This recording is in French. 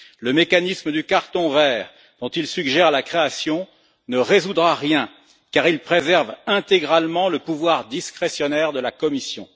Le mécanisme du carton vert, dont il suggère la création, ne résoudra rien car il préserve intégralement le pouvoir discrétionnaire de la Commission.